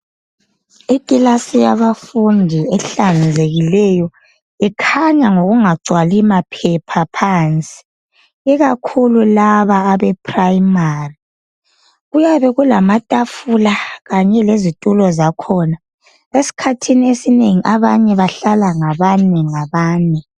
Ikilasi yabafundi ehlanzekileyo ikhanya ngokungagcwali maphepha phansi ikakhulu laba abephuremari. Kuyabe kulamatafula kanye lezitulo zakhona .Esikhathini esinengi abanye bahlala ngabane ngabane.